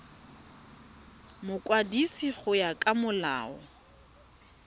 mokwadisi go ya ka molao